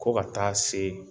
Ko ka taa se